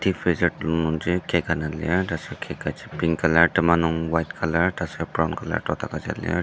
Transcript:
deep freezer telung nungji cake ana lir tasur cake kaji pink colour tema nung white colour tasur brown colour dot aguja lir.